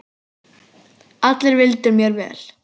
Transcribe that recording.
Allir vildu mér vel.